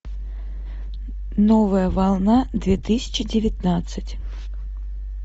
новая волна две тысячи девятнадцать